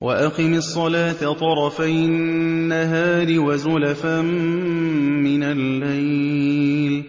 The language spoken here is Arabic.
وَأَقِمِ الصَّلَاةَ طَرَفَيِ النَّهَارِ وَزُلَفًا مِّنَ اللَّيْلِ ۚ